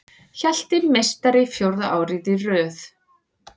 Hjalti meistari fjórða árið í röð